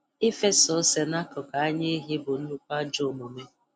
Ịfesa ose n'akụkụ anya ehi bụ nnukwu ajọ omume